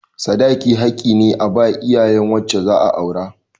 Sadaki haƙƙi ne a ba iyayen wacce za a aura.